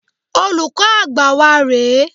Olùkọ́ Àgbà wa rè é.